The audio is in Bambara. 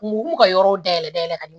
Mugu b'u ka yɔrɔ dayɛlɛ ka ɲɛ